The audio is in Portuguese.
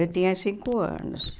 Eu tinha cinco anos.